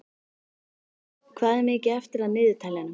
Vörður, hvað er mikið eftir af niðurteljaranum?